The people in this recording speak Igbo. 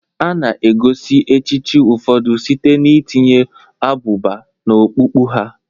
A na-egosi echichi ụfọdụ site n'itinye abụba n'okpukpu ha.